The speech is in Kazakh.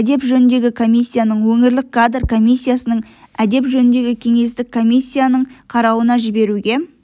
әдеп жөніндегі комиссияның өңірлік кадр комиссиясының әдеп жөніндегі кеңестің комиссияның қарауына жіберуге